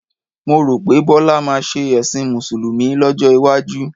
Mo rò pé Bọ́lá máa ṣe ẹ̀sìn Mùsùlùmí lọ́jọ́ iwájú.